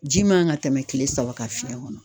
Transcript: Ji man ka tɛmɛ kile saba kan fiɲɛn kɔnɔ